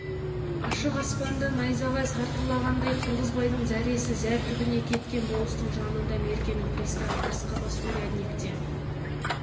ашық аспанда найзағай сартылдағандай қырғызбайдың зәресі зәр түбіне кеткен болыстың жанында меркенің приставы қасқабас урядник те